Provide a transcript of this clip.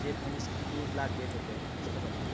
যে পঞ্চাশ কেজি দুধ লাগবে তোকে বুঝতে পারলি?